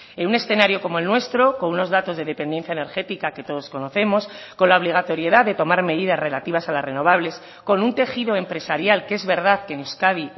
en un escenario como el nuestro con unos datos de dependencia energética que todos conocemos con la obligatoriedad de tomar medidas relativas a las renovables con un tejido empresarial que es verdad que en euskadi